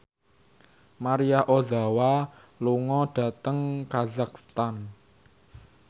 Maria Ozawa lunga dhateng kazakhstan